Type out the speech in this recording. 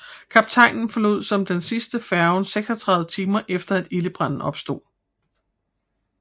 Kaptajnen forlod som den sidste færgen 36 timer efter at ildebranen opstod